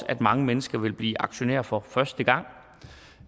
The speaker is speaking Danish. at mange mennesker vil blive aktionærer for første gang